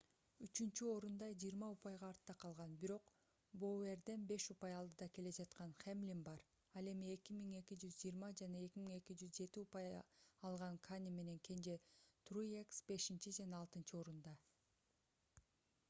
үчүнчү орунда 20 упайга артта калган бирок боуэрден беш упай алдыда келе жаткан хэмлин бар ал эми 2220 жана 2207 упай алган кане менен кенже труекс бешинчи жана алтынчы орунда